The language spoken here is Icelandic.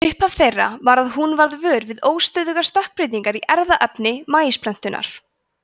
upphaf þeirra var að hún varð vör við óstöðugar stökkbreytingar í erfðaefni maísplöntunnar